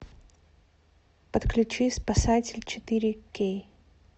подключи спасатель четыре кей